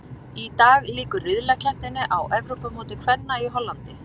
Í dag lýkur riðlakeppninni á Evrópumóti kvenna í Hollandi.